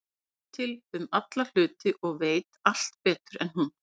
Eddu til um alla hluti og veit allt betur en hún.